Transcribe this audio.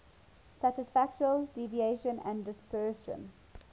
statistical deviation and dispersion